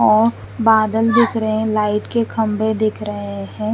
और बादल दिखरे है लाइट के खम्बे दिख रहे है।